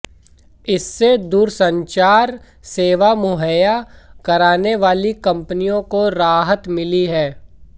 इससे दूरसंचार सेवा मुहैया कराने वाली कंपनियों को राहत मिली है